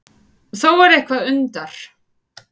Þó er eitthvað undar